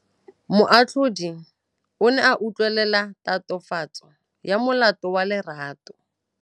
Moatlhodi o ne a utlwelela tatofatsô ya molato wa Lerato.